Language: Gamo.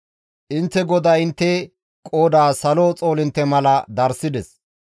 Intte GODAY intte qooda Salo xoolintte mala darssides.